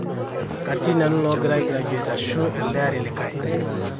katii nanu loogira ai graduate ashu elde ari likae